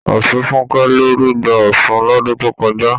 Ọ̀ṣunfúnkẹ́ ló rugbá Ọ̀ṣun lọ́dun tó kọjá.